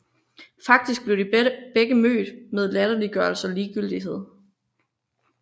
Faktisk blev de begge mødt med latterliggørelse og ligegyldighed